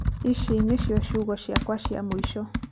ici nĩcio ciugo ciakwa cia mũico.